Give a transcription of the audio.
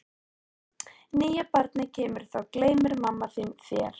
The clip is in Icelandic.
Þegar nýja barnið kemur þá gleymir mamma þín þér.